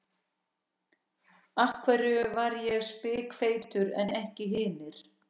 Af hverju var ég spikfeitur en ekki hinir?